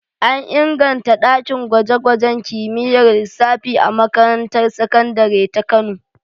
An inganta ɗakin gwaje-gwajen kimiyyar lissafi a makarantar sakandare ta Kano.